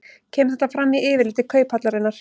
Kemur þetta fram í yfirliti Kauphallarinnar